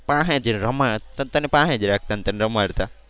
પાસે જ રમા તને પાસે જ રાખતા ને તને રમાડતા.